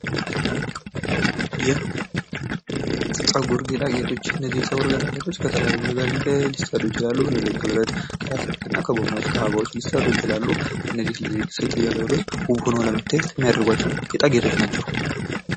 ይህ የፀጉር ጌጣጌጦች፦ የፀጉር ጌጣጌጦች ከተለያዩ ነገሮች ሊሰሩ ይችላሉ ከተለያዩ ከብረት ፥ ከፕላስቲክና፥ ከአበባዎች ሊሠሩ ይችላሉ እነዚህ ሴት ልጃገረዶች ውብ ሆነው ለመታየት የሚያደርጓቸው ጌጣጌጦች ናቸው።